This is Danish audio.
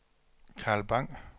Carl Bang